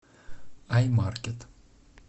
аймаркет